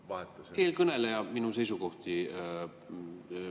Ma vahetasin.